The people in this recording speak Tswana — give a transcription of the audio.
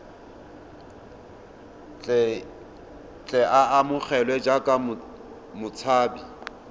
tle a amogelwe jaaka motshabi